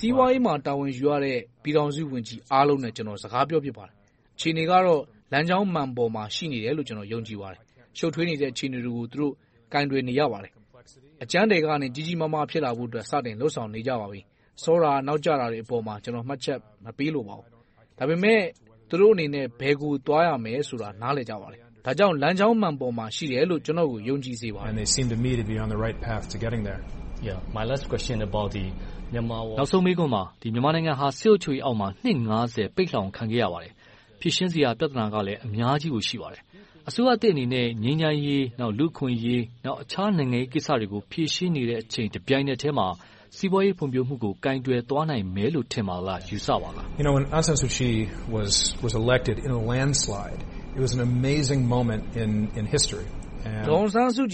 စီးပွားရေးမှာ တာဝန်ယူရတဲ့ ပြည်ထောင်စုဝန်ကြီးအားလုံးနဲ့ ကျနော် စကားပြောဖြစ်ပါတယ်။ အခြေအနေကတော့ လမ်းကြောင်းမှန်ပေါ်မှာ ရှိနေတယ်လို့ ယုံကြည်ပါတယ်။ ရှုပ်ထွေနေတဲ့ အခြေအနေတွေကို သူတို့ ကိုင်တွယ်နေရပါတယ်။ အကြမ်းထည်ကနေ ကြီးကြီးမားမား ဖြစ်လာဖို့ စတင်လုပ်ဆောင်နေကြပါပြီ။ စောတာနောက်ကျတာတွေအပေါ်မှာ ကျနော် မှတ်ချက်မပေးလိုပါဘူး။ ဒါပေမဲ့ သူတို့အနေနဲ့ ဘယ်ကို သွားရမယ်ဆိုတာကို နားလည်ကြပါတယ်။ ဒါကြောင့် လမ်းကြောင်းမှန်ပေါ်မှာ ရှိတယ်လို့ ကျနော်ကို ယုံကြည်စေချင်ပါတယ်။ မြန်မာနိုင်ငံဟာ စစ်အုပ်ချုပ်ရေးအောက်မှာ နှစ် ပိတ်လှောင်ခံခဲ့ရပါတယ်။ ဖြေရှင်းစရာ ပြဿနာကလည်း အများကြီးကို ရှိပါတယ်။ အစိုးရသစ်အနေနဲ့ ငြိမ်းချမ်းရေး၊ လူ့အခွင့်အရေး နဲ့ တခြားနိုင်ငံရေးကိစ္စတွေကို ဖြေရှင်းနေတဲ့ တပြိုင်နက်ထဲမှာ စီးပွားရေးဖွံ့ဖြိုးမှုကို ကိုင်တွယ်သွားလာနိုင်မယ်လို့ ထင်ပါလား။ ယူဆပါလား။ ဒေါ်အောင်ဆန်းစုကြည